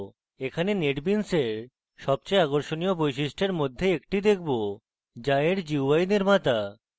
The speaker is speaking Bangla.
এখানে netbeans in সবচেয়ে আকর্ষণীয় বৈশিষ্ট্য in মধ্যে একটি দেখব যা in gui নির্মাতা